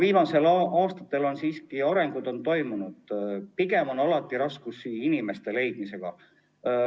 Viimastel aastatel on siiski areng toimunud, pigem on alati raskusi inimeste leidmisega.